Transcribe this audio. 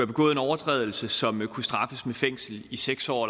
begået en overtrædelse som kunne straffes med fængsel i seks år